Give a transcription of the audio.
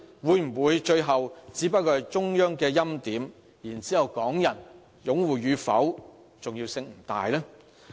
會否最後只是中央欽點，然後港人擁護與否的重要性不大呢？